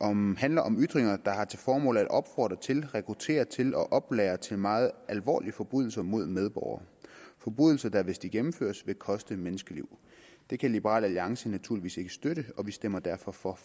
om handler om ytringer der har til formål at opfordre til rekruttere til og oplære til meget alvorlige forbrydelser mod en medborger forbrydelser der hvis de gennemføres vil koste menneskeliv det kan liberal alliance naturligvis ikke støtte og vi stemmer derfor for